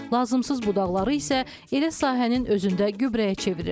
Lazımsız budaqları isə elə sahənin özündə gübrəyə çevirir.